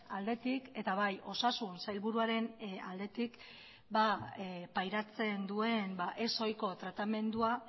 aldetik eta bai osasun sailburuaren aldetik pairatzen duen ez ohiko tratamendua